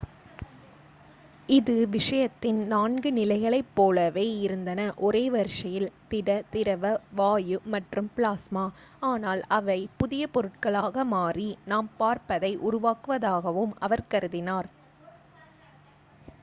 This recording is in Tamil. இது விஷயத்தின் நான்கு நிலைகளைப் போலவே இருந்தன ஒரே வரிசையில்: திட திரவ வாயு மற்றும் பிளாஸ்மா ஆனால் அவை புதிய பொருட்களாக மாறி நாம் பார்ப்பதை உருவாக்குவதாகவும் அவர் கருதினார்